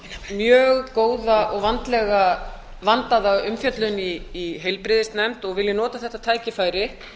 mjög góða og vandaða umfjöllun í heilbrigðisnefnd og vil ég nota þetta tækifæri